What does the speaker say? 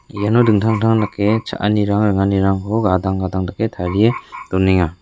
iano dingtang dingtang dake cha·anirang ringanirangko gadang gadang dake tarie donenga.